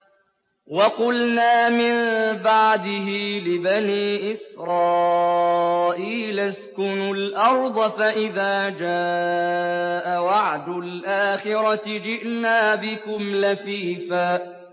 وَقُلْنَا مِن بَعْدِهِ لِبَنِي إِسْرَائِيلَ اسْكُنُوا الْأَرْضَ فَإِذَا جَاءَ وَعْدُ الْآخِرَةِ جِئْنَا بِكُمْ لَفِيفًا